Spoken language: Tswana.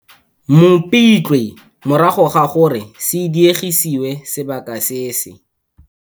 Mopitlwe morago ga gore se diegisiwe sebaka se se.